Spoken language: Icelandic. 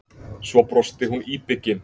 Svo brosti hún íbyggin.